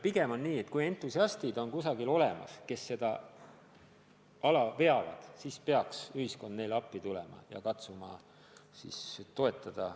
Pigem on nii, et kui kusagil on entusiastid, kes ala veavad, siis peaks ühiskond neile appi tulema ja katsuma toetada.